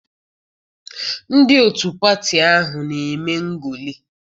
Ndị otu pati ahụ na-eme ngolị.